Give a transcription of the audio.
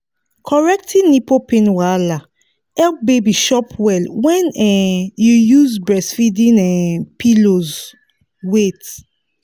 correcting nipple pain wahala help baby chop well when um you use breastfeeding um pillows wait